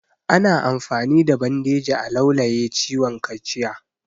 Ana amfani da bandeji a laulaye ciwon kaciya